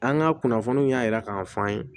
An ka kunnafoniw y'a yira k'a fɔ an ye